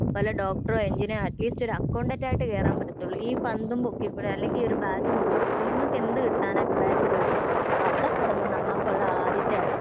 വല്ല ഡോക്ടറോ എഞ്ചിനീയറോ അറ്റ്ലീസ്റ്റ് ഒരു അക്കൗണ്ടന്റ് ആയിട്ട് കേറാൻ പറ്റാത്തൊള്ളൂ ഈ പറഞ്ഞ പന്തും പൊക്കികൊണ്ട് അല്ലെങ്കി ഒരു ബാറ്റും പൊക്കിപ്പിടിച്ച് നിങ്ങക്ക് എന്ത് കിട്ടാനാ പിള്ളാരെന്ന് ചോയ്ക്കുമ്പോ അവിടെ തുടങ്ങും നമുക്കുള്ള ആദ്യത്തെ അടി